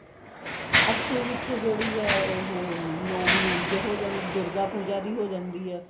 ਅੱਸੂ ਵਿੱਚ ਜਿਹੜੀ ਹੈ ਉਹ hm ਨੋਵੀਂ ਉਂਜ ਹੋ ਜਾਂਦੀ ਹੈ ਦੁਰਗਾ ਪੂਜਾ ਦੀ ਹੋ ਜਾਂਦੀ ਹੈ